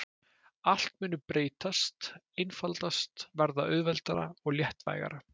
Allt muni breytast, einfaldast, verða auðveldara og léttvægara.